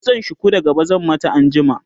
kitsan shuku da gaba zan mata anjima